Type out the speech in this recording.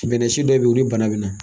Bɛnnɛsi dɔw be yen o ni bana bɛna.